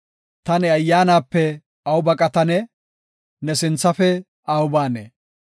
Ta ne Ayyaanape aw baqatanee? ne sinthafe aw baanee?